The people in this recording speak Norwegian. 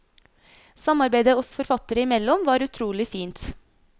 Samarbeidet oss forfattere imellom var utrolig fint.